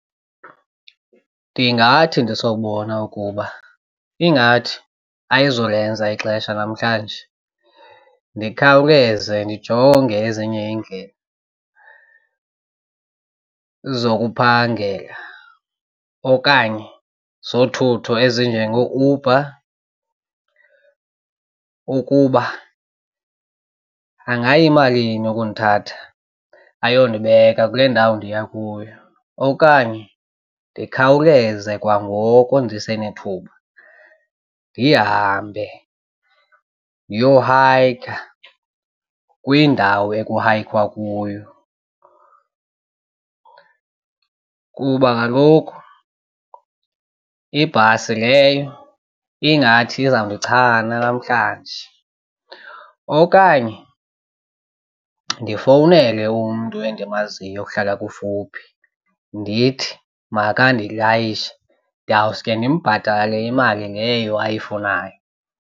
Ndingathi ndisobona ukuba ingathi ayizulenza ixesha namhlanje ndikhawuleze ndijonge ezinye iindlela zokuphangela okanye zothutho ezinjengooUber ukuba angayimalini ukundithatha ayondibeka kule ndawo ndiya kuyo. Okanye ndikhawuleze kwangoko ndisenethuba ndihambe ndiyohayikha kwindawo ekuhayikhwa kuyo. Kuba kaloku ibhasi leyo ingathi izawundichana namhlanje. Okanye ndifowunele umntu endimaziyo ohlala kufuphi ndithi makandilayishe ndawuske ndimbhatale imali leyo ayifunayo.